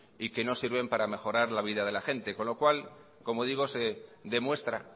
y que no sirven para mejorar la vida de la gente con lo cual como digo se demuestra